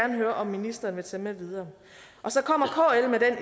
høre om ministeren vil tage med videre